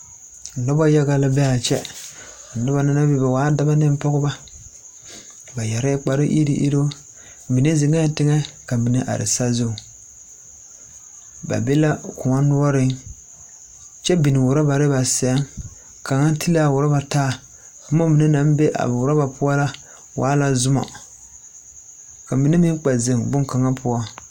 Nona yaga la be a kyɛ a noba na mine waa dɔba ne pɔgeba ba yɛrɛɛ kpare eruŋ eruŋ mine ziŋee tigɛ ka mine are sazuiŋ ba be la koɔ noɔriŋ kyɛ biŋ rɔbari ba seŋ kaŋa te la a dɔba a taa boma mine naŋ be a rɔba poɔ la waa la zoma ka mine me kpɛ ziŋ boŋkaŋa poɔ.